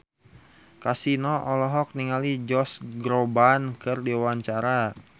Kasino olohok ningali Josh Groban keur diwawancara